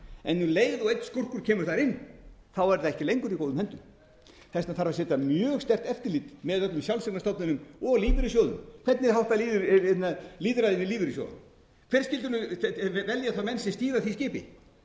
en um leið og einn skúrkur kemur þar inn er það ekki lengur í góðum höndum þess vegna þarf að setja mjög sterkt eftirlit með öllum sjálfseignarstofnunum og lífeyrissjóðum hvernig er háttað lýðræði í lífeyrissjóðunum hverjir skyldu velja þá menn sem stýra því skipi hver